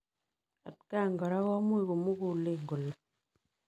Atakaan koraa komuuch komuguleen kolee